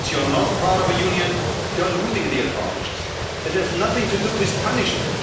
once you're not part of a union, you're losing the advantages. That has nothing to do with punishment